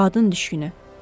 Qadın düşkünü.